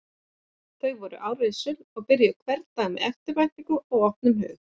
Þau voru árrisul og byrjuðu sérhvern dag með eftirvæntingu og opnum hug.